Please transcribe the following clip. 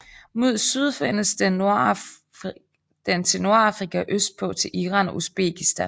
Mod syd findes den til Nordafrika og østpå til Iran og Uzbekistan